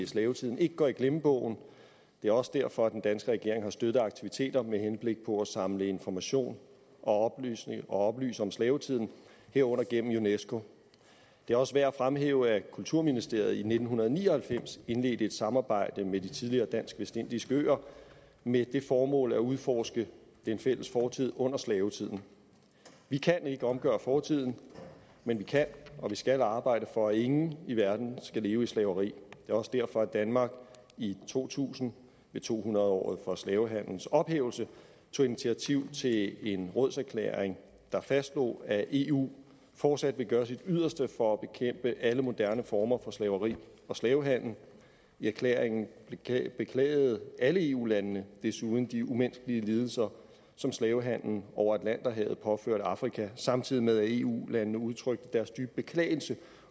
slavetiden ikke går i glemmebogen det er også derfor at den danske regering har støttet aktiviteter med henblik på at samle information og oplysning og oplyse om slavetiden herunder gennem unesco det er også værd at fremhæve at kulturministeriet i nitten ni og halvfems indledte et samarbejde med de tidligere dansk vestindiske øer med det formål at udforske den fælles fortid under slavetiden vi kan ikke omgøre fortiden men vi kan og vi skal arbejde for at ingen i verden skal leve i slaveri det er også derfor at danmark i to tusind ved to hundrede året for slavehandelens ophævelse tog initiativ til en rådserklæring der fastslog at eu fortsat vil gøre sit yderste for at bekæmpe alle moderne former for slaveri og slavehandel i erklæringen beklagede alle eu landene desuden de umenneskelige lidelser som slavehandelen over atlanterhavet påførte afrika samtidig med at eu landene udtrykte deres dybe beklagelse af